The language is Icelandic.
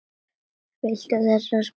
Viltu þessa? spyr hann.